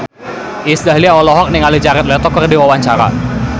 Iis Dahlia olohok ningali Jared Leto keur diwawancara